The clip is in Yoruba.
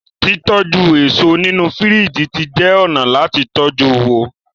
titoju eso nínú firiji tí jé ọnà láti tọjú wón.